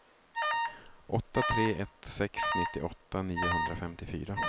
åtta tre ett sex nittioåtta niohundrafemtiofyra